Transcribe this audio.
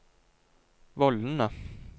vollene